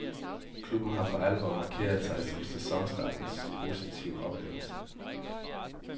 Klubben har for alvor markeret sig som sæsonstartens positive oplevelse.